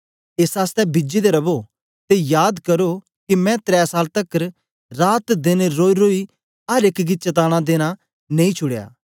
एस आसतै बिजे दे रवो ते जाद करो के मैं त्रै साल तकर रात देन रोईरोई अर एक गी चताना देना नेई छुड़या